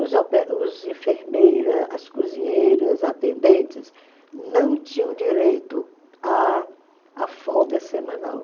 Os os enfermeira, as cozinheiras, atendentes não tinham direito à à folga semanal.